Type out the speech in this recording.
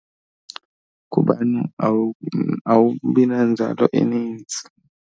Kuba awubi nanzalo enintsi.